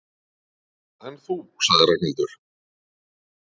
En þú sagði Ragnhildur.